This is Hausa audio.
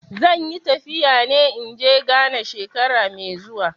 Zan yi tafiya in ge Ghana shekara mai zuwa.